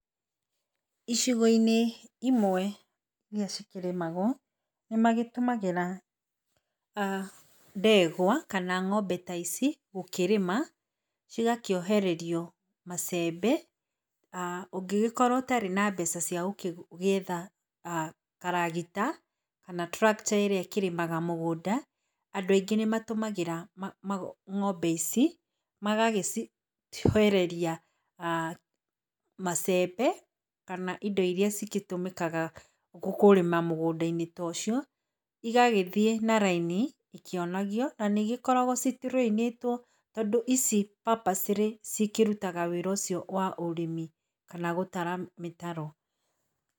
Icigo-inĩ imwe iria cikĩrĩmagwo, nĩ magĩtũmagĩra ndegwa kana ng'ombe ta ici gũkĩrĩma cigakĩohererio macembe. Ũngĩgĩkorwo ũtarĩ na mbeca cia gwetha karagita kana tractor ĩrĩa ĩkĩrĩmaga mũgũnda, andũ aingĩ nĩ matũmagĩra ng'ombe ici, magagĩciohereria macembe kanaindo iria cigĩtũmĩkaga kũrĩma mũgũnda-inĩ ta ũcio, igagĩthiĩ naraini ikionagio na nĩ cigĩkoragwo citurĩinĩtwo tondũ ici papacĩrĩ cikĩrutaga wĩra ũcio wa ũrĩmi kana gũtara mĩtaro.